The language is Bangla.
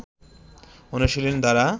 অনুশীলন দ্বারা